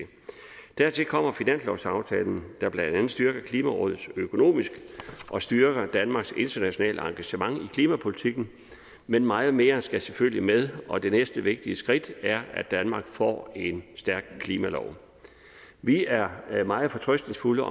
dertil kommer finanslovsaftalen der blandt andet styrker klimarådet økonomisk og styrker danmarks internationale engagement i klimapolitikken men meget mere skal selvfølgelig med og det næste vigtige skridt er at danmark får en stærk klimalov vi er meget fortrøstningsfulde